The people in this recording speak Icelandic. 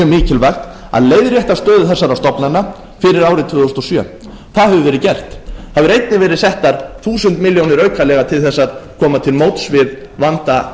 að að leiðrétta stöðu þessara stofnana fyrir árið tvö þúsund og sjö það hefur verið gert það hafa einnig verið settar þúsund milljónir aukalega til þess að koma til móts við vanda